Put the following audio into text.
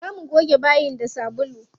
Za mu goge bayin da sabulu.